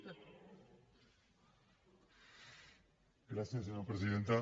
gràcies senyora presidenta